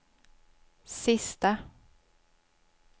sista